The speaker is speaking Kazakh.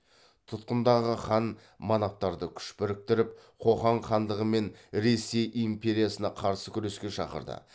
тұтқындағы хан манаптарды күш біріктіріп қоқан хандығы мен ресей империясына қарсы күреске шақырды